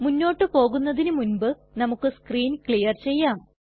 മുന്നോട്ട് പോകുന്നതിനു മുൻപ് നമുക്ക് സ്ക്രീൻ ക്ലിയർ ചെയ്യാം